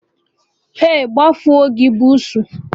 Ei, gbafuo gị bụ bussu!